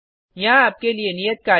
यहाँ आपके लिए नियत कार्य है